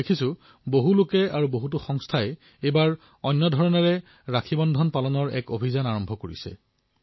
মই দেখা পাইছো যে কিছুমান লোক আৰু সংস্থাই এইবাৰ ৰক্ষাবন্ধন অন্য ধৰণে পালন কৰাৰ অভিযান আৰম্ভ কৰিছে